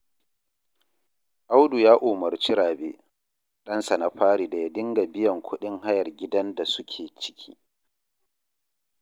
Audu ya umarci Rabe, ɗansa na fari da ya dinga biyan kuɗin hayar gidan da suke ciki